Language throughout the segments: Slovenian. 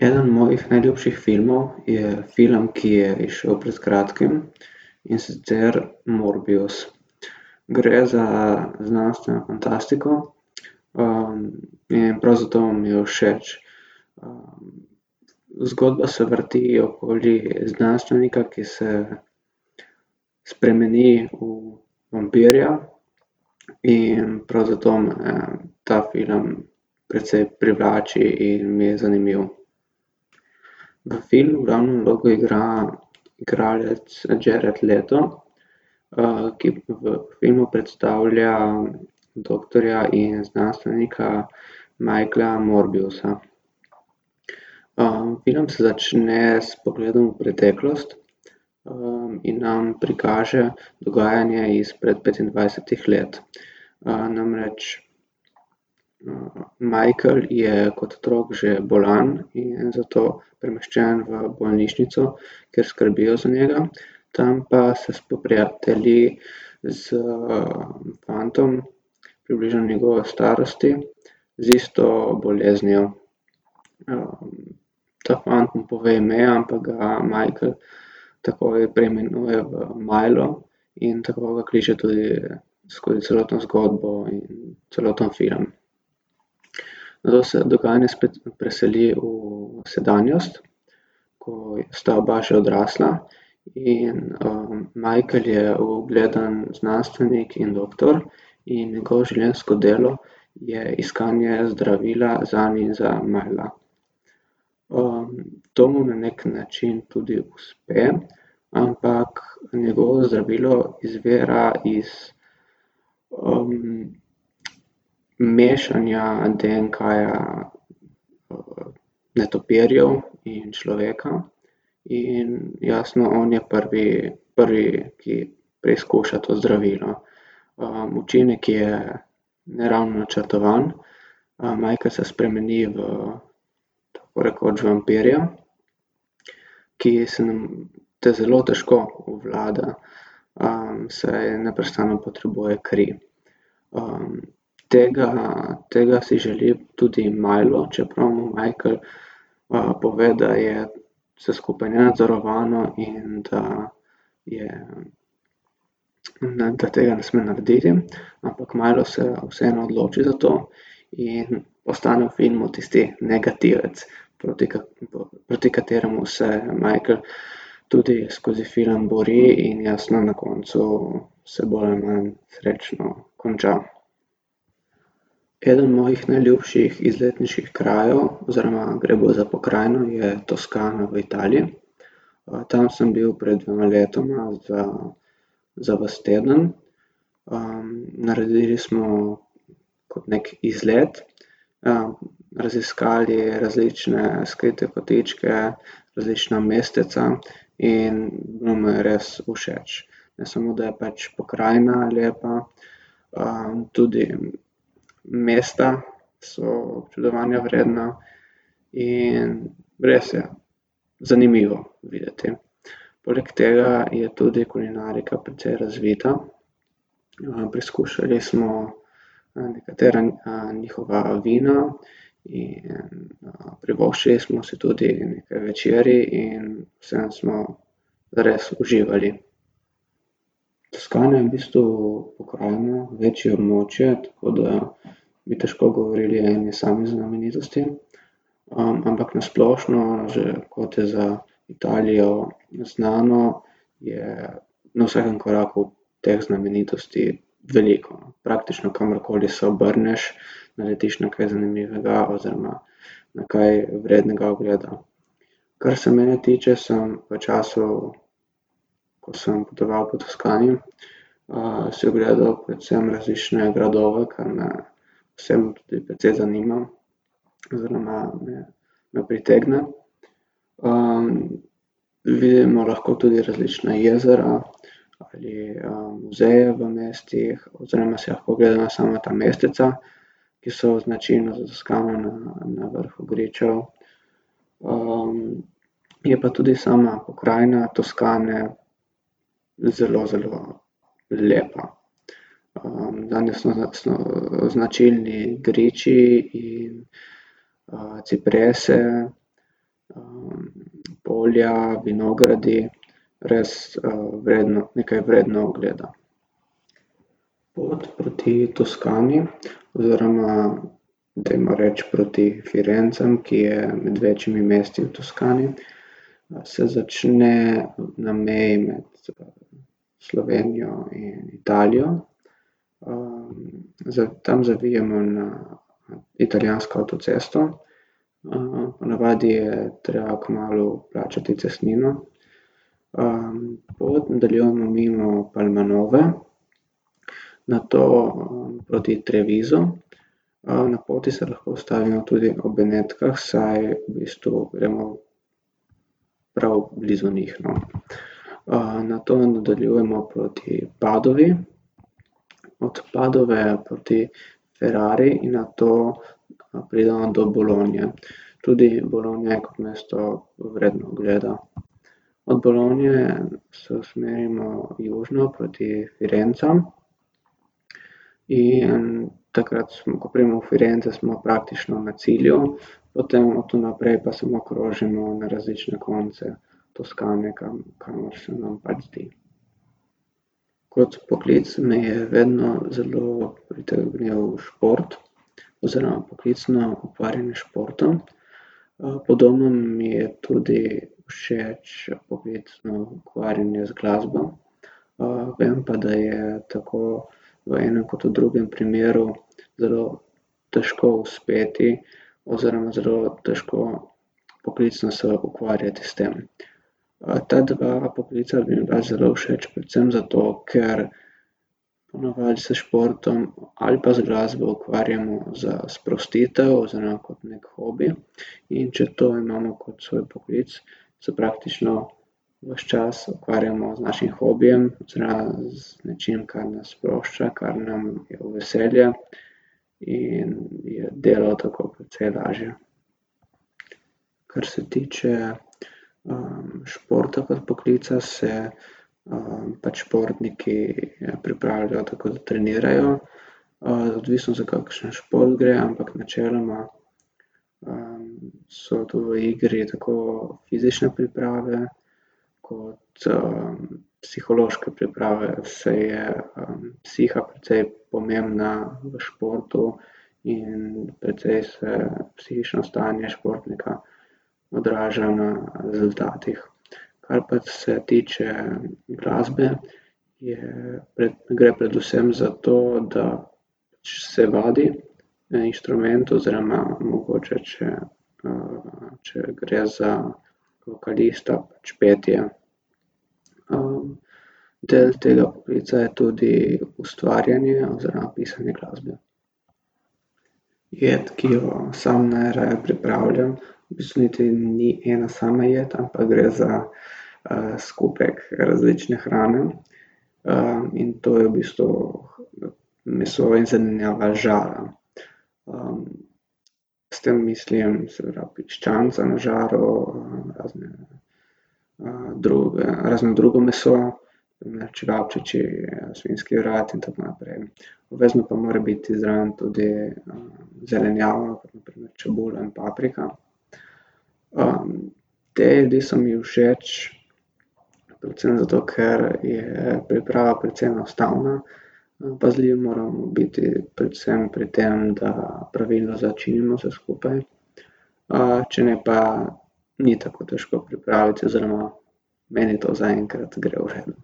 Eden mojih najljubših filmov je film, ki je izšel pred kratkim, in sicer Morbius. Gre za znanstveno fantastiko, in prav zato mi je všeč. zgodba se vrti okoli znanstvenika, ki se spremeni v vampirja, in prav zato me ta film precej privlači in mi je zanimiv. V filmu glavno vlogo igra igralec Jared Leto, ki v filmu predstavlja doktorja in znanstvenika Michaela Morbiusa. film se začne s pogledom v preteklost, in nam prikaže dogajanje izpred petindvajsetih let. namreč, Michael je kot otrok že bolan in je zato premeščen v bolnišnico, kjer skrbijo za njega. Tam pa se spoprijatelji s, fantom približno njegove starosti z isto boleznijo. ta fant mu pove ime, ampak ga Michael takoj preimenuje v Milo. In tako ga kliče tudi skozi celotno zgodbo in celoten film. Nato se dogajanje spet preseli v sedanjost, ko sta oba že odrasla in, Michael je ugleden znanstvenik in doktor in njegovo življenjsko delo je iskanje zdravila zanj in za Mila. to mu na neki način tudi uspe, ampak njegovo zdravilo izvira iz, mešanja DNK-ja, netopirjev in človeka. In jasno on je prvi, prvi, ki preizkuša to zdravilo. učinek je, ne ravno načrtovan, Michael se spremeni v, v tako rekoč vampirja, ki se te zelo težko obvlada, saj neprestano potrebuje kri. tega, tega si želi tudi Milo, čeprav mu Michael, pove, da je vse skupaj nenadzorovano in da je, da tega ne sme narediti, ampak Milo Se vseeno odloči za to In ostane v filmu tisti negativec proti proti kateremu se Michael tudi skozi film bori in jasno na koncu se boj srečno konča. Eden mojih najljubših izletniških krajev oziroma gre bolj za pokrajino je Toskana v Italiji. tam sem bil pred dvema letoma za, za vas teden. naredili smo kot neki izlet, raziskali različne skrite kotičke, različna mesteca in bilo mi je res všeč. Ne samo, da je pač pokrajina lepa, tudi mesta so občudovanja vredna. In res ja, zanimivo videti. Poleg tega je tudi kulinarika precej razvita. preizkušali smo nekatera, njihova vina in, privoščili smo si tudi nekaj večerij in vseeno smo res uživali. Toskana je v bistvu pokrajina, večje območje, tako da bi težko govorili o eni sami znamenitosti. ampak na splošno že, kot je za Italijo znano, je na vsakem koraku teh znamenitosti veliko, praktično kamorkoli se obrneš, naletiš na kaj zanimivega oziroma na kaj vrednega ogleda. Kar se mene tiče, sem v času, ko sem potoval po Toskani, si ogledal predvsem različne gradove, kar me vse me tudi precej zanima. Oziroma me, me pritegne. vidimo lahko tudi različna jezera ali, muzeje v mestih oziroma si lahko ogledamo sama ta mesteca, ki so značilna za Toskano na vrhu gričev, je pa tudi sama pokrajina Toskane zelo, zelo lepa. zanjo so jasno značilni griči in, ciprese, polja, vinogradi, res, vredno, nekaj vredno ogleda. Pot proti Toskani, oziroma dajmo reči proti Firencam, ki je med večjimi mesti v Toskani, se začne na meji med Slovenijo in Italijo, tam zavijemo na, na italijansko avtocesto. po navadi je treba kmalu plačati cestnino. pot nadaljujemo mimo Palmanove, nato, proti Trevisu, na poti se lahko ustavimo tudi v Benetkah, saj v bistvu gremo prav blizu njih, no. nato nadaljujemo proti Padovi, od Padove proti Ferrari in nato pridemo do Bologne. Tudi Bologna je kot mesto vredna ogleda. Od Bologne se usmerimo južino proti Firencam in takrat, ko pridemo v Firence, smo praktično na cilju. Potem od tu naprej pa samo krožimo na različne konce Toskane, kamor se nam pač zdi. Kot poklic me je vedno zelo pritegnil šport. Oziroma poklicno ukvarjanje s športom. podobno mi je tudi všeč poklicno ukvarjanje z glasbo. vem pa, da je tako v enem kot v drugem primeru zelo težko uspeti oziroma zelo težko poklicno se ukvarjati s tem. ta dva poklica bi mi bila zelo všeč predvsem zato, ker po navadi se s športom ali pa z glasbo ukvarjamo za sprostitev oziroma kot neki hobi, in če to imamo kot svoj poklic, se praktično ves čas ukvarjamo z našim hobijem oziroma z nečim, kar nas sprošča, kar nam je v veselje, in je delo tako precej lažje. Kar se tiče, športa kot poklica, se, pač športniki pripravljajo, tako da trenirajo, odvisno za kakšen šport gre, ampak načeloma, so tu v igri tako fizične priprave kot, psihološke priprave, saj je, psiha precej pomembna v športu in precej se psihično stanje športnika odraža na rezultatih. Kar pa se tiče glasbe je gre predvsem za to, da pač se vadi na inštrumentu oziroma mogoče, če, če gre za vokalista, pač petje. del tega poklica je tudi ustvarjanje oziroma pisanje glasbe. Pojdi, ki jo samo najraje pripravljam, v bistvu niti ni ena sama jed, ampak gre za, skupek različne hrane. in to je v bistvu meso in zelenjava z žara. s tem mislim seveda piščanca na žaru, razne, razno drugo meso čevapčiči, svinjski vrat in tako naprej. Obvezno pa more biti zraven tudi, zelenjava, kot na primer čebula in paprika. te jedi so mi všeč predvsem zato, ker je priprava precej enostavna, pazljivi moramo biti predvsem pri tem, da pravilno začinimo vse skupaj, če ne pa ni tako težko pripraviti oziroma meni to zaenkrat gre v redu.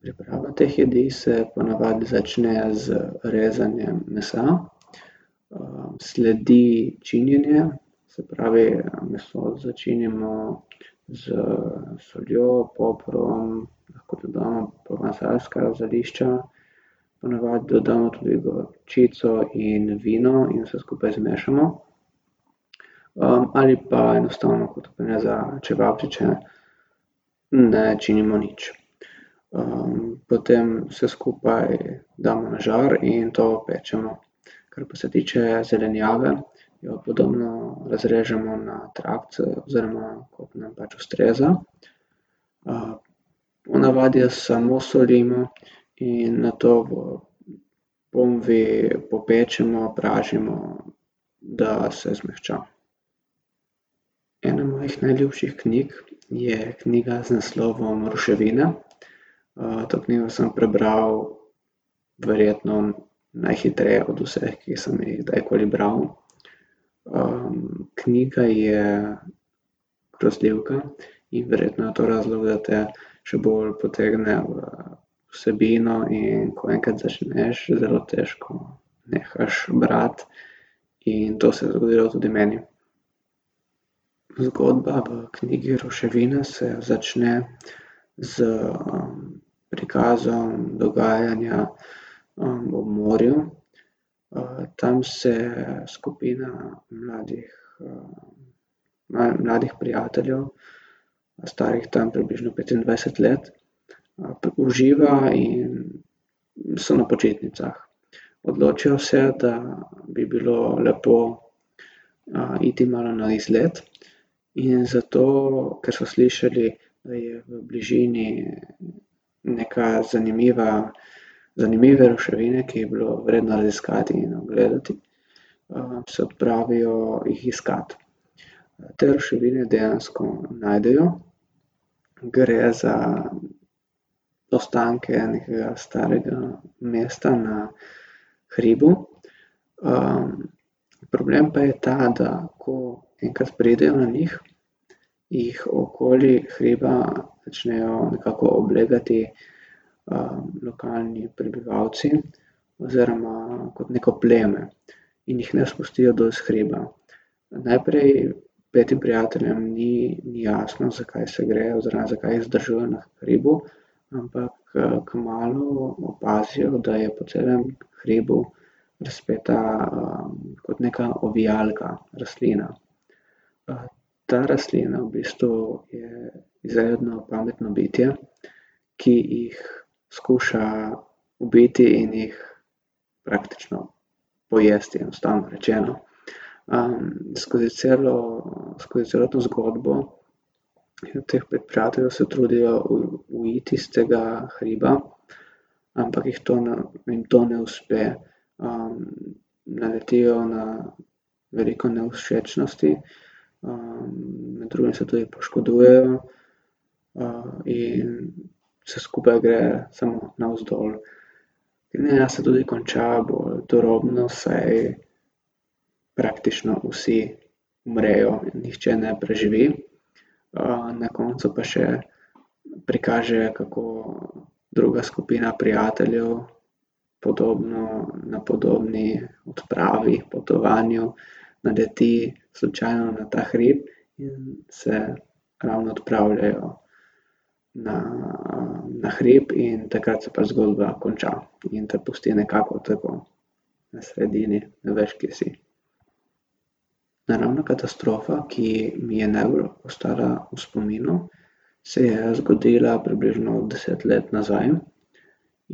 Priprava teh jedi se po navadi začne z rezanjem mesa. sledi činjenje, se pravi, meso začinimo s soljo, poprom lahko tudi damo provansalska zelišča. Po navadi dodamo tudi gorčico in vino in vse skupaj zmešamo. ali pa enostavno kot za čevapčiče ne činimo nič. potem vse skupaj damo na žar in to pečemo. Kar pa se tiče zelenjave, jo podobno razrežemo na trakce, oziroma kot nam pač ustreza, po navadi jo samo solimo in nato v ponvi popečemo, pražimo, da se zmehča. Ena mojih najljubših knjig je knjiga z naslovom Ruševine. to knjigo sem prebral verjetno najhitreje od vseh, ki sem jih kdajkoli bral. knjiga je grozljivka in verjetno je to razlog, da te še bolj potegne v vsebino, in ko enkrat začneš, zelo težko nehaš brati in to se je zgodilo tudi meni. Zgodba v knjigi Ruševine se začne s, prikazom dogajanja, ob morju. tam se skupina mladih, mladih prijateljev, starih tam približno petindvajset let, uživa in so na počitnicah. Odločijo se, da bi bilo lepo, iti malo na izlet in zato, ker so slišali, da je v bližini neka zanimiva, zanimive ruševine, ki bi jih bilo vredno raziskati in ogledati, se odpravijo jih iskat. te ruševine dejansko najdejo, gre za ostanke nekega starega mesta na hribu. problem pa je ta, da ko enkrat pridejo na njih, jih okoli hriba začnejo nekako oblegati, lokalni prebivalci oziroma kot neko pleme. In jih ne spustijo dol s hriba. najprej petim prijateljem ni, ni jasno, zakaj se gre oziroma zakaj jih zadržujejo na hribu, ampak, kmalu opazijo, da je po celem hribu razpeta, kot neka ovijalka rastlina. ta rastlina v bistvu je izredno pametno bitje, ki jih skuša ubiti in jih praktično pojesti, enostavno rečeno. skozi celo, skozi celo to zgodbo prijateljev se trudijo uiti s tega hriba, ampak jih to na, jim to ne uspe. naletijo na veliko nevšečnosti. med drugim se tudi poškodujejo, in vse skupaj gre samo navzdol. Knjiga se tudi konča bolj turobno, saj praktično vsi umrejo, nihče ne preživi, na koncu pa še prikaže, kako druga skupina prijateljev podobno, na podobni odpravi, potovanju naleti slučajno na ta hrib in se ravno odpravljajo na, na hrib in takrat se pa zgodba konča in te pusti nekako tako na sredini, ne veš, kje si. Naravna katastrofa, ki mi je najbolj ostala v spominu, se je zgodila približno deset let nazaj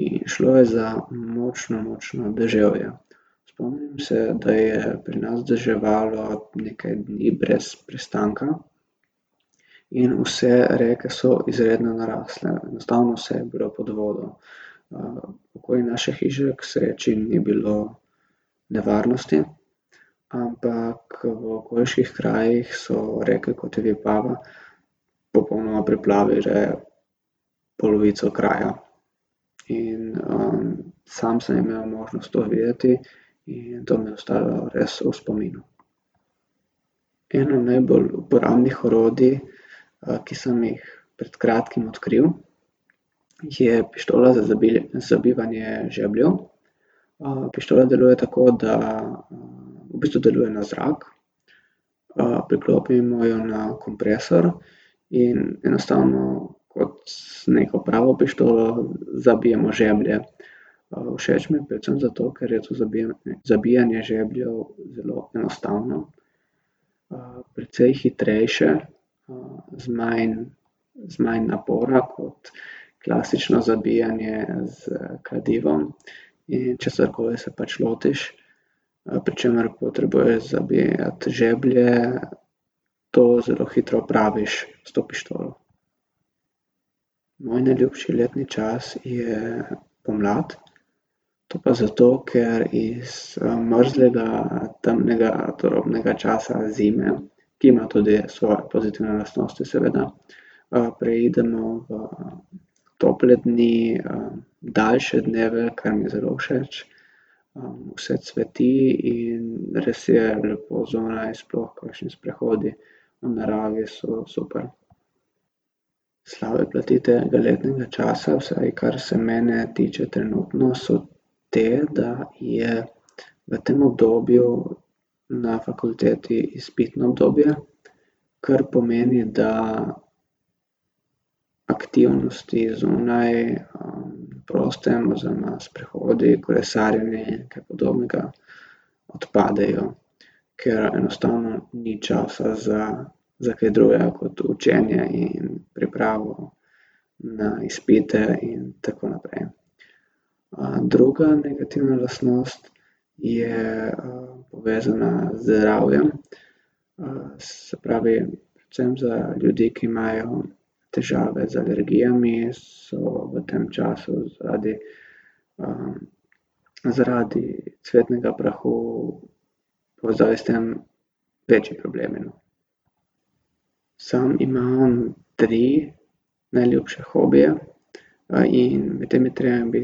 in šlo je za močno, močno deževje. Spomnim se, da je pri nas deževalo nekaj dni brez prestanka in vse reke so izredno narasle. Enostavno vse je bilo pod vodo. Okoli naše hiše k sreči ni bilo nevarnosti, ampak v okoliških krajih so reke, kot je Vipava, popolnoma preplavile polovico kraja. In, sam sem imel možnost to videti in to mi je ostalo res v spominu. Eno najbolj uporabnih orodij, ki sem jih pred kratkim odkril, je pištola za za zabijanje žebljev. pištola deluje tako, da, v bistvu deluje na zrak. priklopimo jo na kompresor in enostavno kot neko pravo pištolo zabijemo žeblje. všeč mi je predvsem zato, ker je tudi zabijanje žebljev zelo enostavno, precej hitrejše, z manj, z manj napora kot klasično zabijanje s kladivom, in česarkoli se pač lotiš, pri čemer potrebuješ zabijati žeblje, to zelo hitro opraviš s to pištolo. Moj najljubši letni čas je pomlad. To pa zato, ker iz, mrzlega, temnega turobnega časa zime, ki ima tudi svoje pozitivne lastnosti seveda, preidemo v, tople dni, daljše dneve, kar mi je zelo všeč. vse cveti in res je lepo zunaj, sploh kakšni sprehodi v naravi so super. Slabe plati tega letnega časa, vsaj kar se mene tiče trenutno, so te, da je v tem obdobju na fakulteti izpitno obdobje, kar pomeni, da aktivnosti zunaj, proste oziroma sprehodi, kolesarjenje in kaj podobnega odpadejo. Ker enostavno ni časa za, za kaj drugega kot učenje in pripravo na izpite in tako naprej. druga negativna lastnost je, povezana z zdravjem. se pravi predvsem za ljudi, ki imajo težave z alergijami, so v tem času zaradi, zaradi cvetnega prahu večji problemi, no. Samo imam tri najljubše hobije. in med temi tremi bi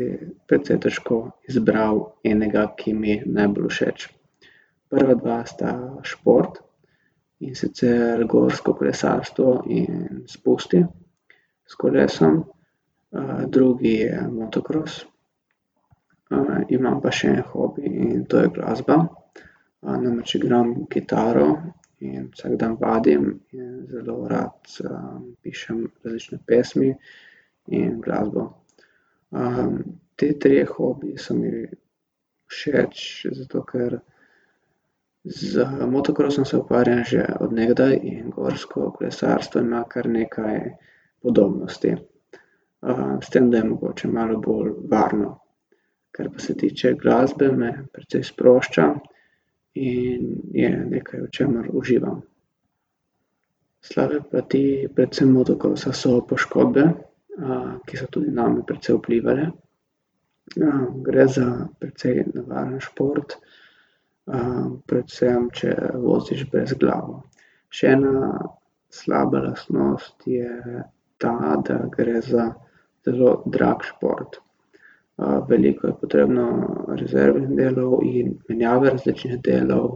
precej težko izbral enega, ki mi najbolj všeč. Prva dva sta šport, in sicer gorsko kolesarstvo in spusti s kolesom. drugi je motokros, imam pa še en hobi in to je glasba, namreč igram kitaro in vsak dan vadim in zelo rad, pišem različne pesmi in glasbo. ti trije hobiji so mi všeč zato, ker z motokrosom se ukvarjam že od nekdaj in gorsko kolesarstvo ima kar nekaj udobnosti. s tem, da je mogoče malo bolj varno. Kar pa se tiče glasbe, me precej sprošča in je nekaj, v čemer uživam. Slabe plati, predvsem motokrosa, so poškodbe, ki so tudi name presej vplivale. gre za precej nevaren šport, predvsem, če voziš brezglavo. Še ena slaba lastnost je ta, da gre za zelo drag šport. veliko je potrebno rezervnih delov in menjave različnih delov,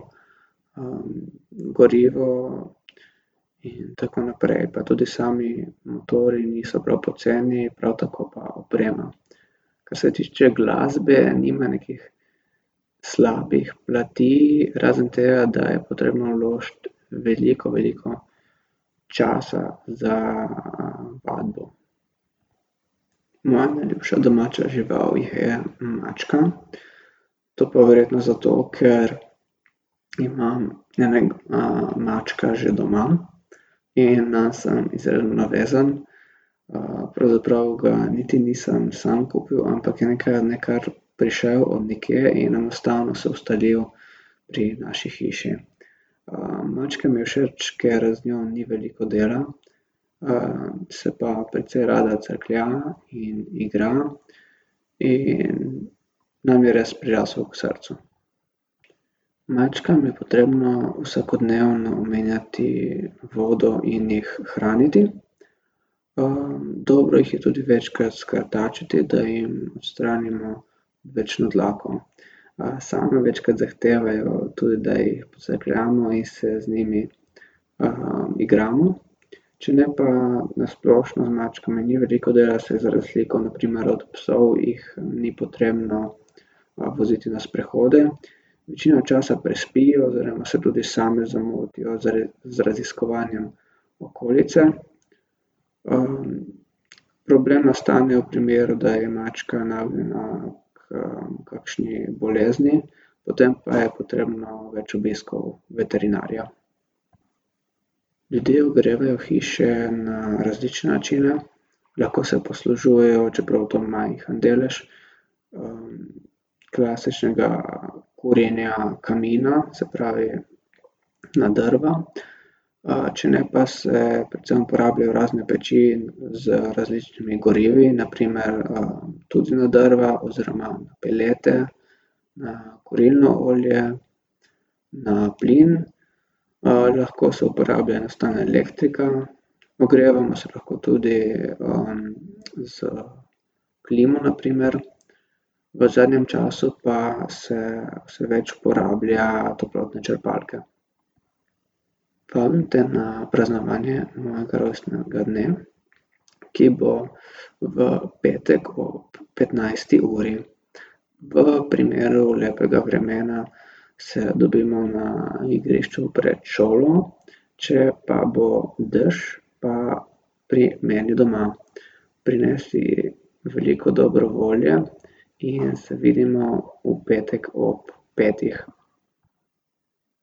gorivo in tako naprej, pa tudi sami motorji niso prav poceni, prav tako pa oprema. Kar se tiče glasbe, nima nekih slabih plati razen tega, da je potrebno vložiti veliko, veliko časa za, vadbo. Moja najljubša domača žival je mačka, to pa verjetno zato, ker imam mačka že doma. In, sem izredno navezan, pravzaprav ga niti nisem sam kupil, ampak je nekega dne kar prišel od nekje in enostavno se ustalil pri naši hiši. mačka mi je všeč, ker z njo ni veliko dela. se pa precej rada crklja in igra in nam je res prirasel k srcu. Mačkam je potrebno vsakodnevno menjati vodo in jih hraniti. dobro jih je tudi večkrat skrtačiti, da jim odstranimo odvečno dlako. same večkrat zahtevajo tudi, da jih pocrkljamo in se z njimi, igramo. Če ne pa na splošno z mačkami ni veliko dela, saj od razlike od na primer od psov jih ni potrebno, voziti na sprehode. Večino časa prespijo oziroma se tudi same zamotijo z z raziskovanjem okolice. problem nastane v primeru, da je mačka nagnjena h kakšni bolezni, potem pa je potrebno več obiskov veterinarja. Ljudje ogrevajo hiše na različne načine, lahko se poslužujejo, čeprav to majhen delež, klasičnega kurjenja kamina, se pravi, na drva, če ne pa se predvsem uporabljajo razne peči z različnimi gorivi na primer, tudi na drva oziroma pelete, na kurilno olje, na plin, lahko se uporablja enostavno elektrika, ogrevamo se lahko tudi, s klimo na primer. V zadnjem času pa se vse več uporablja toplotne črpalke. Vabim te na praznovanje mojega rojstnega dne, ki bo v petek ob petnajsti uri. V primeru lepega vremena se dobimo na igrišču pred šolo, če pa bo dež, pa pri meni doma. Prinesi veliko dobro volje in se vidimo v petek ob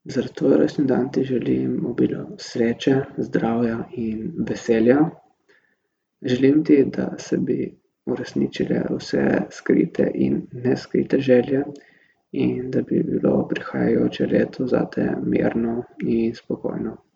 petih. Za tvoj rojstni dan ti želim obilo sreče, zdravja in veselja. Želim ti, da se bi uresničile vse skrite in neskrite želje in da bi bilo prihajajoče leto zate mirno in spokojno.